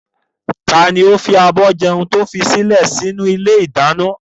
Taàní ó fi àbọ̀ jẹun to fi kalẹ sì inú ilé ìdáná?